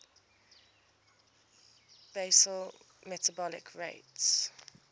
basal metabolic rate